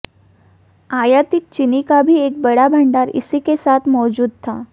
आयातित चीनी का भी एक बड़ा भंडार इसी के साथ मौजूद था